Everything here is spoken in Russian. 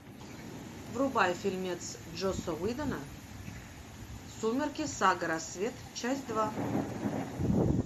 врубай фильмец джосса уидона сумерки сага рассвет часть два